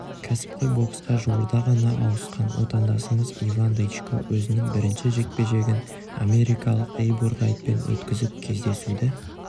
кәсіпқой боксқа жуырда ғана ауысқан отандасымыз иван дычко өзінің бірінші жекпе-жегін америкалық эйбур райтпен өткізіп кездесуді